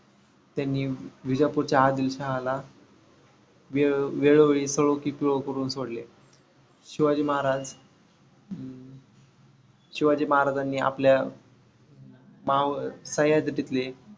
त्यांनी विजापूरच्या आदिल शहाला वेळो वेळी करून सोडले. शिवाजी महाराज अं शिवाजी महाराजांनी आपल्या माव सह्याद्रीतले